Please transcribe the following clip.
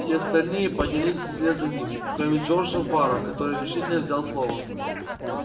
все остальные поднялись вслед за ним кроме джорджа фара который решительно взял слово